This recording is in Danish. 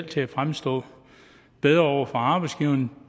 kan fremstå bedre over for arbejdsgiveren